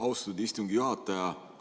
Austatud istungi juhataja!